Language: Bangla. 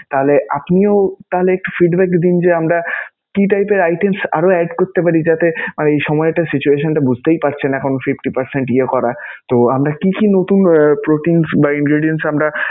তাহলে আপনিও তাহলে একটু feedback দিন যে, আমরা কি type এর items আরও add করতে পারি? যাতে সময়টা, situation টা বুঝতেই পারছেন এখন fifty percent ইয়ে করা তো আমরা কি কি নতুন proteins বা ingredience আমরা